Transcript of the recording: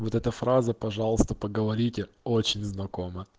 вот эта фраза пожалуйста поговорите очень знакома